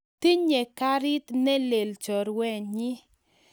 Tinye karit ne lel chorwennyi